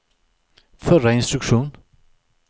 förra instruktion